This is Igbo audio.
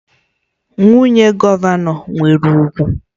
Nwunye gọvanọ nwere ugwu